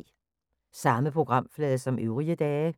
Samme programflade som øvrige dage